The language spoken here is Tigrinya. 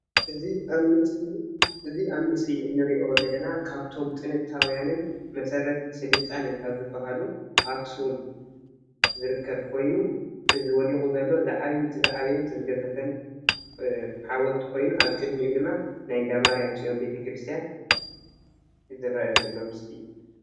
እዚ ኣብ ምስሊ ንሪኦ ዘለና ካብቶም ጥንታውያንን መሰረት ስልጣነ ካብ ዝበሃሉ ኣኽሱም ዝርከብ ኮይኑ እዚ ወዲቑ ዘሎ እቲ ዝዓበየን ዝገዘፈን ሓወልቲ ኮይኑ ኣብ ቅድሚኡ ድማ ናይ እንዳ ማርያም ፅዮን ቤተ ክርስቲያን ዝርአ ዘሎ ምስሊ እዩ፡፡